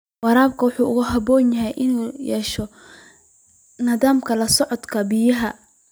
Waraabka wuxuu u baahan yahay inuu yeesho nidaamka la socodka biyaha.